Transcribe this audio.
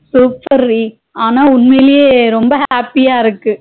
super டி ஆனா உண்மையிலே ரொம்ப happy யா இருக்கு